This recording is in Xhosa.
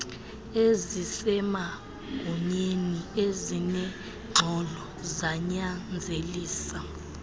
ezisemagunyeni ezinengxolo zanyanzelisa